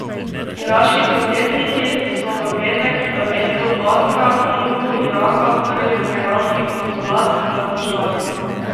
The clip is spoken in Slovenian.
Iraški protestniki so v petek v mestu Basra na jugu Iraka vdrli v iranski konzulat in ga zažgali.